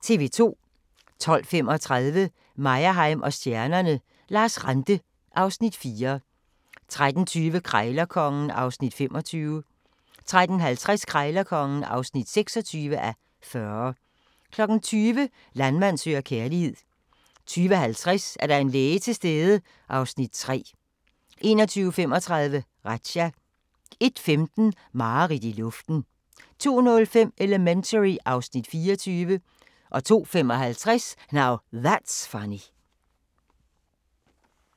12:35: Meyerheim & stjernerne: Lars Ranthe (Afs. 4) 13:20: Krejlerkongen (25:40) 13:50: Krejlerkongen (26:40) 20:00: Landmand søger kærlighed 20:50: Er der en læge til stede? (Afs. 3) 21:35: Razzia 01:15: Mareridt i luften 02:05: Elementary (Afs. 24) 02:55: Now That's Funny